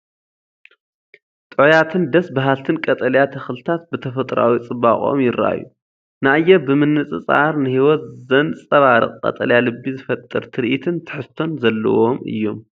ጥዑያትን ደስ በሃልትን ቀጠልያ ተኽልታት ብተፈጥሮኣዊ ጽባቐኦም ይረኣዩ። ንኣየር ብምንጽጻር ፡ ንህይወት ዘንጸባርቕ ቀጠልያ ልቢ ዝፈጥር ትርኢትን ትሕዝቶን ዘለዎም እዮም።